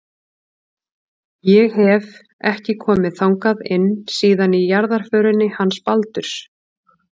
Ég hef. ekki komið þangað inn síðan í jarðarförinni hans Baldurs.